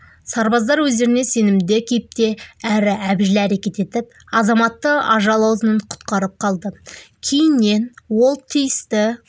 сарбаздар өздеріне сенімді кейіпте әрі әбжіл әрекет етіп азаматты ажал аузынан құтқарып қалды кейіннен ол тиісті